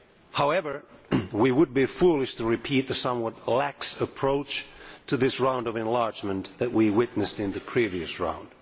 However, we would be foolish to repeat the somewhat lax approach to this round of enlargement that we witnessed in the previous round.